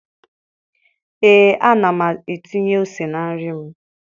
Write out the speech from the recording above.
ee ana m etinye ose na nri m.